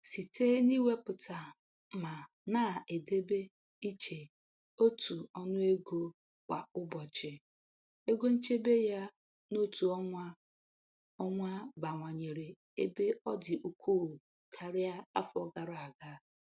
Site n'iwepụta ma na-edobe iche otu ọnụ ego kwa ụbọchị, ego nchebe ya n'otu ọnwa ọnwa bawanyere ebe ọ dị ukwuu karịa afọ gara aga.